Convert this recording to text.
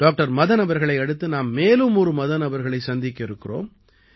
doctor Madan அவர்களை அடுத்து நாம் மேலும் ஒரு மதன் அவர்களை சந்திக்க இருக்கிறோம்